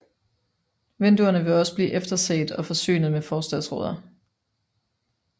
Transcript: Vinduerne vil også blive efterset og forsynet med forsatsruder